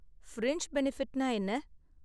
Fringe பெனிஃபிட்னா என்ன?